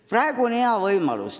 Praegu on hea võimalus.